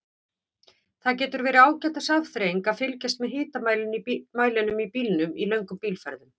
Það getur verið ágætis afþreying að fylgjast með hitamælinum í bílnum í löngum bílferðum.